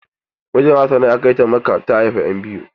Mijin hassana ya kai ta makka da ta haifa ƴan biyu.